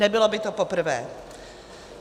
Nebylo by to poprvé.